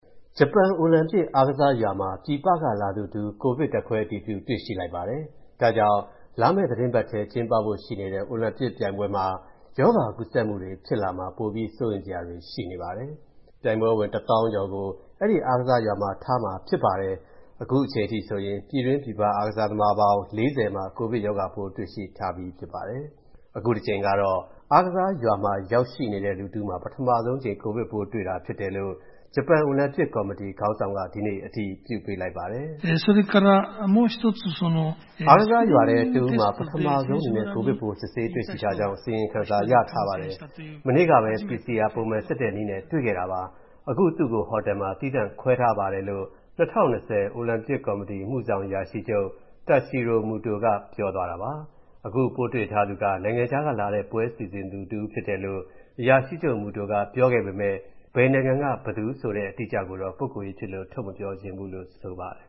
ဂျပန်အိုလံပစ်အားကစားရွာမှာ ပြည်ပကလာသူတဦး ကိုဗစ် ဓာတ်ခွဲအတည်ပြု တွေ့ရှိလိုက်ပါတယ်။ ဒါကြောင့် လာမယ့်သီတင်းပတ်ထဲ ကျင်းပဖို့ရှိနေတဲ့ အိုလံပစ်ပြိုင်ပွဲမှာ ရောဂါကူးစက်မှုတွေ ဖြစ်လာမှာ ပိုပြီး စိုးရိမ်စရာတွေ ရှိနေပါတယ်။ ပြိုင်ပွဲဝင် တသောင်းကျော်ကို အဲဒီအားကစားရွာမှာ ထားရှိမှာဖြစ်ပါတယ်။ အခုအချိန်အထိဆိုရင် ပြည်တွင်းပြည်ပက အားကစားသမား ၄၀ မှာ ကိုဗစ်ရောဂါပိုး တွေ့ရှိထားပြီး ဖြစ်ပါတယ်။ အခုတကြိမ်ကတော့ အားကစားရွာမှာ ရောက်ရှိနေတဲ့ လူတဦးမှာ ပထမဆုံးအကြိမ် ကိုဗစ်ပိုးတွေ့တာဖြစ်တယ်လို့ ဂျပန်အိုလံပစ်ကော်မတီ ခေါင်းဆောင်က ဒီနေ့ အတည်ပြုပေးလိုက်ပါတယ်။ “အားကစားရွာထဲက တဦးမှာ ပထမဆုံးအနေနဲ့ ကိုဗစ်ပိုး စစ်ဆေးတွေ့ရှိထားကြောင်း အစီရင်ခံထားပါတယ်။ မနေ့ကပဲ PCR ပုံမှန်စစ်တဲ့နည်းနဲ့ တွေ့ခဲ့တာပါ။ အခု သူ့ကို ဟိုတယ်မှာ သီးသန့်ခွဲထားပါတယ်” လို့ ၂၀၂၀ တိုကျိုအိုလံပစ် အမှုဆောင်အရာရှိချုပ် Toshiro Muto က ပြောသွားတာပါ။ အခုပိုးတွေ့ထားသူက နိုင်ငံခြားကလာတဲ့ ပွဲစီစဉ်သူတဦးဖြစ်တယ်လို့ အရာရှိချုပ် Muto က ပြောခဲ့ပေမယ့် ဘယ်နိုင်ငံက ဘယ်သူဆိုတဲ့ အတိအကျကိုတော့ ပုဂ္ဂိုလ်ရေးဖြစ်လို့ ထုတ်မပြောချင်ဘူးလို့ ဆိုပါတယ်